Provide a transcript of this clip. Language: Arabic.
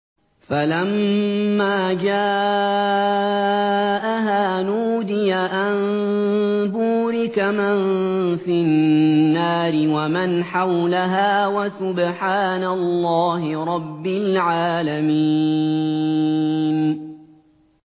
فَلَمَّا جَاءَهَا نُودِيَ أَن بُورِكَ مَن فِي النَّارِ وَمَنْ حَوْلَهَا وَسُبْحَانَ اللَّهِ رَبِّ الْعَالَمِينَ